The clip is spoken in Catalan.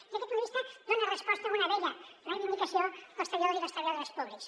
des d’aquest punt de vista dona resposta a una vella reivindicació dels treballadors i les treballadores públics